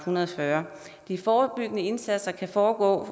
hundrede og fyrre de forebyggende indsatser kan foregå